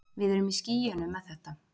Við erum í skýjunum með þetta.